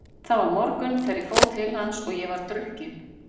Það var morgunn þegar ég fór til hans og ég var drukkin.